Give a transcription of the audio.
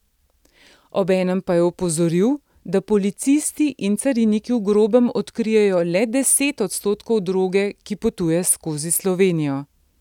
Obenem pa je opozoril, da policisti in cariniki v grobem odkrijejo le deset odstotkov droge, ki potuje skozi Slovenijo.